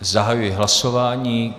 Zahajuji hlasování.